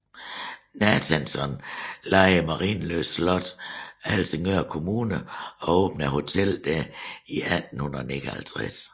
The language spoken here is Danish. Nathanson lejede Marienlyst Slot af Helsingør Kommune og åbnede hotellet der i 1859